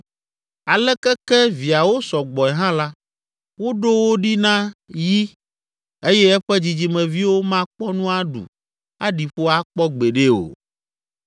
Aleke ke viawo sɔ gbɔe hã la, woɖo wo ɖi na yi eye eƒe dzidzimeviwo makpɔ nu aɖu aɖi ƒo akpɔ gbeɖe o.